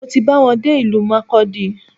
Mo ti ba wọn dé ìlú Markudi